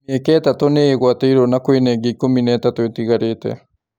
Mĩeke ĩtatũ nĩĩgwatĩirwo na kwĩna ĩngĩ ikũmi na ĩtatũ ĩtigarĩte.